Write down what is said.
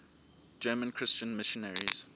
german christian missionaries